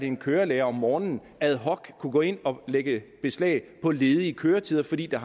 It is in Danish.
en kørelærer om morgenen ad hoc kunne gå ind og lægge beslag på ledige køretider fordi der